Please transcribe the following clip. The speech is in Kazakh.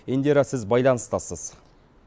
индира сіз байланыстасыз